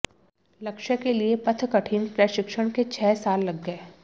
लक्ष्य के लिए पथ कठिन प्रशिक्षण के छह साल लग गए